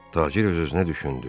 Tacir öz-özünə düşündü.